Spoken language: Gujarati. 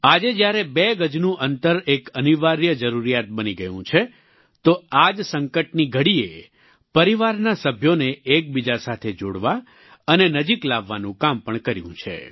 આજે જ્યારે બે ગજનું અંતર એક અનિવાર્ય જરૂરિયાત બની ગયું છે તો આ જ સંકટની ઘડીએ પરિવારના સભ્યોને એકબીજા સાથે જોડવા અને નજીક લાવવાનું કામ પણ કર્યું છે